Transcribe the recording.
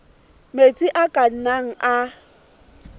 metsi a ka nnang a